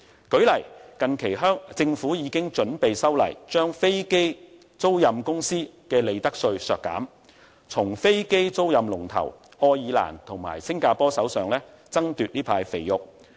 舉例來說，近期政府已經準備修例，削減飛機租賃公司的利得稅，從飛機租賃龍頭愛爾蘭和新加坡手上爭奪這塊"肥肉"。